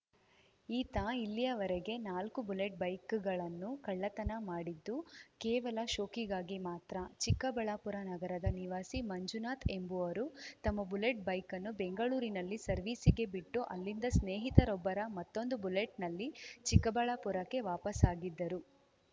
ಈತ ಇಲ್ಲಿಯವರೆಗೆ ನಾಲ್ಕು ಬುಲೆಟ್‌ ಬೈಕ್‌ಗಳನ್ನು ಕಳತನ ಮಾಡಿದ್ದು ಕೇವಲ ಶೋಕಿಗಾಗಿ ಮಾತ್ರ ಚಿಕ್ಕಬಳ್ಳಾಪುರ ನಗರದ ನಿವಾಸಿ ಮಂಜುನಾಥ್‌ ಎಂಬುವರು ತಮ್ಮ ಬುಲೆಟ್‌ ಬೈಕ್‌ ಅನ್ನು ಬೆಂಗಳೂರಿನಲ್ಲಿ ಸರ್ವಿಸ್‌ಗೆ ಬಿಟ್ಟು ಅಲ್ಲಿಂದ ಸ್ನೇಹಿತರೊಬ್ಬರ ಮತ್ತೊಂದು ಬುಲೆಟ್‌ನಲ್ಲಿ ಚಿಕ್ಕಬಳ್ಳಾಪುರಕ್ಕೆ ವಾಪಸ್‌ ಆಗಿದ್ದರು